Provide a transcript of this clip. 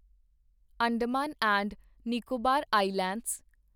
Andaman and Nicobar islands